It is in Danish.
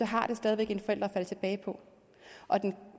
har det stadig væk en forælder at falde tilbage på